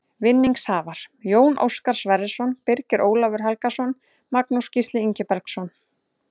Vinningshafar: Jón Óskar Sverrisson Birgir Ólafur Helgason Magnús Gísli Ingibergsson